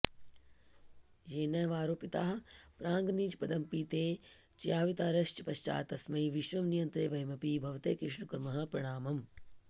येनैवारोपिताः प्राङ्निजपदमपि ते च्यावितारश्च पश्चात् तस्मै विश्वं नियन्त्रे वयमपि भवते कृष्ण कुर्मः प्रणामम्